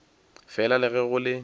fela le ge go le